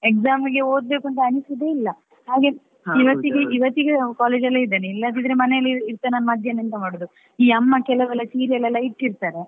Exam ಗೆ ಓದ್ಬೇಕು ಅಂತ ಅನಿಸುದೇ ಇಲ್ಲಾ ಹಾಗೆ ಇವತ್ತಿಗೆ ಇವತ್ತಿಗೆ college ಅಲ್ಲಿಯೇ ಇದ್ದೇನೆ. ಇಲ್ಲದಿದ್ರೆ ಮನೆಯಲ್ಲಿ ಮದ್ಯಾಹ್ನ ಎಂತ ಮಾಡುದು ಈ ಅಮ್ಮ ಕೆಲವೆಲ್ಲ serial ಎಲ್ಲ ಇಟ್ಟಿರ್ತಾರೆ.